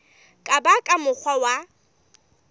ka ba ka mokgwa wa